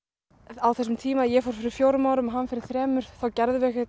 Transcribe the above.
á þessum tíma ég fór fyrir fjórum árum hann fyrir þremur þá gerðum við